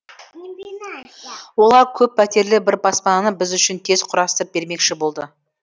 олар көп пәтерлі бір баспананы біз үшін тез құрастырып бермекші болды